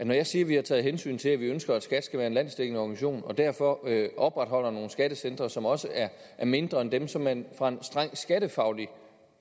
når jeg siger at vi har taget hensyn til at vi ønsker at skat skal være en landsdækkende organisation og derfor opretholder nogle skattecentre som også er mindre end dem som man fra en strengt skattefaglig